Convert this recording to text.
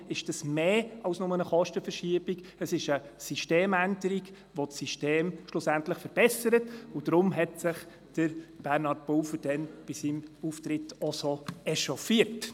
Deshalb ist es mehr als nur eine Kostenverschiebung, es ist eine Systemänderung, die das System schlussendlich verbessert, und deshalb hat sich Bernhard Pulver damals bei seinem Auftritt so echauffiert.